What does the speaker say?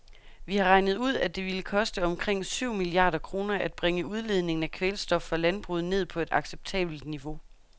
Vi har regnet ud, at det ville koste omkring syv milliarder kroner at bringe udledningen af kvælstof fra landbruget ned på et acceptabelt niveau.